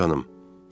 Hə, canım?